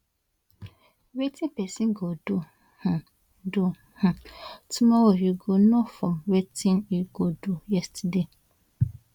wetin pesin go do um do um tomorrow you go know from wetin e do yesterday